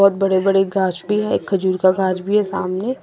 बड़े बड़े गाछ भी है एक खजूर का गाछ भी है सामने--